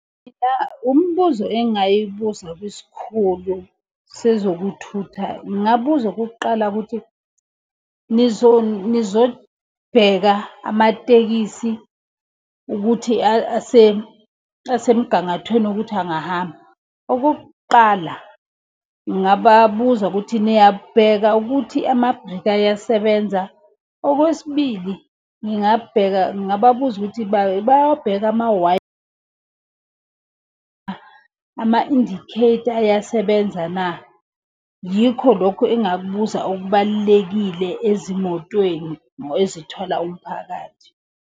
Mina umbuzo engingayibuza kwisikhulu sezokuthutha ngingabuza okokuqala ukuthi nizobheka amatekisi ukuthi asemgangathweni wokuthi angahamba. Okokuqala ngingababuza ukuthi niyabheka ukuthi amabhreki ayasebenza. Okwesibili ngingabheka ngababuza ukuthi bayawabheke . Ama-indicator ayasebenza na? Yikho lokhu engingakubuza okubalulekile ezimotweni ezithwala umphakathi.